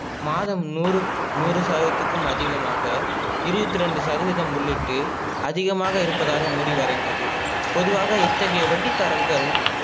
மாதம் நூறு நூறு சதவிதத்துக்கும் அதிகமாக இருபத்தி ரெண்டு சதவிதம் உள்ளிட்டு அதிகமாக இருப்பதாக மூடி வரைந்தது. பொதுவாக இத்தகைய வட்டிக்காரர்கள்